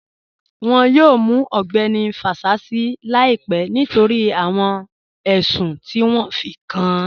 Wọ́n yọ̀ọ̀ mù Ọgbẹni Fásísì làìpẹ̀ nítorí awọn ẹṣùn ti wọn fí kàn án